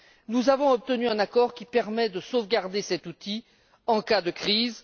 Nous avons obtenu un accord qui permet de sauvegarder cet outil en cas de crise.